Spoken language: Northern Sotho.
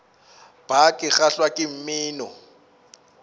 bar ke kgahlwa ke mmino